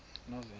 novena